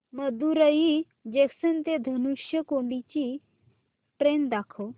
Madurai junction ते धनुषकोडी ची train दाखव